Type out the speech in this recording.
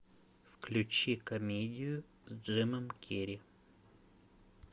включи комедию с джимом керри